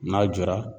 N'a jɔra